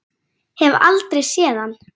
Hef aldrei séð hann.